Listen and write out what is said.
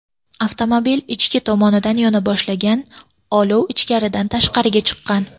Avtomobil ichki tomonidan yona boshlagan, olov ichkaridan tashqariga chiqqan.